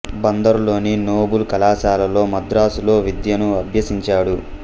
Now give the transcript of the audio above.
బందరు లోని నోబుల్ కళాశాలలో మద్రాసు లో విద్యను అభ్యసించాడు